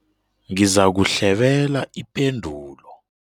Ngizakuhlebela ipendulo.